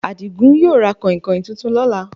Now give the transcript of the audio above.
Adigún yóò ra kànhìnkàhìn tuntun lọ́là